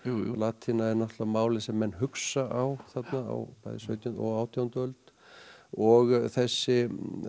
latína er náttúrulega málið sem menn hugsa á þarna á sautjándu og átjándu öld og þessi